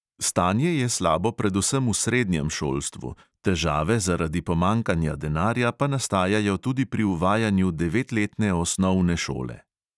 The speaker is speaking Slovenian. Stanje je slabo predvsem v srednjem šolstvu, težave zaradi pomanjkanja denarja pa nastajajo tudi pri uvajanju devetletne osnovne šole.